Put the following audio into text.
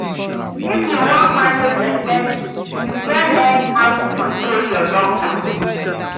If you wan manage expenses, you gats learn how to control your long throat.